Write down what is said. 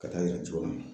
Ka taa yira cogo min na